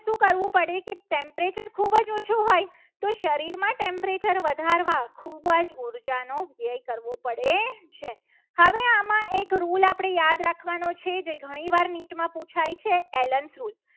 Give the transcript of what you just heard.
કરવું પડે. કે temperature ખૂબ જ ઓછું હોય તો શરીરમાં temperature વધારવા ખૂબ જ ઊર્જાનો વ્યય કરવો પડે છે. હવે આમાં આપણે એક rule યાદ રાખવાનો છે. જે ઘણીવાર neet માં પુછાય છે. તો આ elans rules